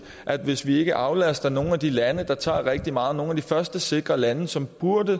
at hvis vi ikke aflaster nogle af de lande der tager rigtig mange nogle af de første sikre lande som